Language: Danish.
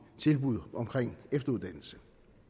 tilbud om efteruddannelse